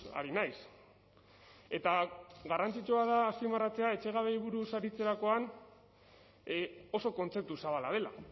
ari naiz eta garrantzitsua da azpimarratzea etxegabetzeei buruz aritzerakoan oso kontzeptu zabala dela